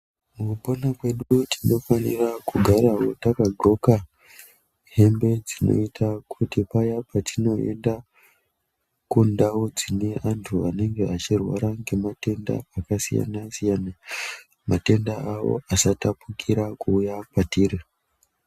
Mukupona kwedu tinofanira kugarawo takadxoka hembe dzinoita kuti paya patinoenda kundau dzine antu anenge achirwara ngematenda akasiyana siyana matenda awo asatapukira kuuya kwatiri.